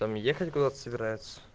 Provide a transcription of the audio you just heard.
там ехать куда-то собирается